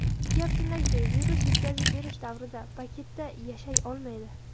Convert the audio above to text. Gap shundaki, virus yetkazib berish davrida paketda yashay olmaydi.